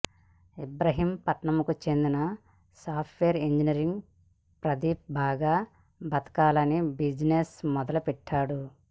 ఇబ్రహీంపట్నంకు చెందిన software engineer Pradeep బాగా బతకాలని బిజినెస్ మొదలుపెట్టాడు